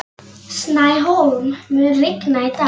Snæhólm, mun rigna í dag?